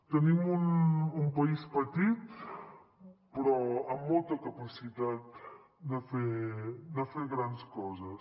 tenim un país petit però amb molta capacitat de fer grans coses